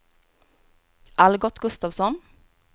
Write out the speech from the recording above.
Algot Gustavsson